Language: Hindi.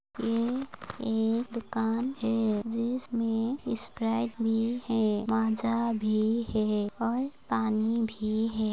यह एक दुकान है जिसमें स्प्राइट भी है माज़ा भी है और पानी भी है।